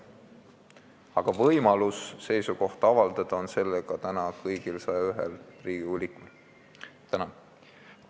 Aga võimalus seisukohta avaldada on täna kõigil 101Riigikogu liikmel.